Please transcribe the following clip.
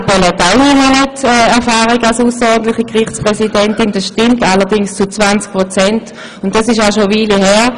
Frau Mallepell hat ebenfalls neun Monate Erfahrung als ausserordentliche Gerichtspräsidentin, allerdings nur zu 20 Prozent, und diese Tätigkeit ist auch schon eine Weile her.